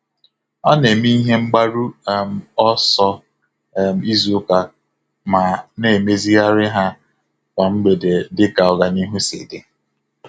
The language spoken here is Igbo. Ọ na-eme ihe mgbaru um ọsọ um izu ụka ma na-emezigharị ha kwa mgbede dịka ọganihu sị dị.